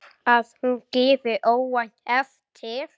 Að hún gefi óvænt eftir.